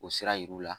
O sira yiriw la